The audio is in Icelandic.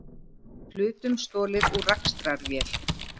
Hlutum stolið úr rakstrarvél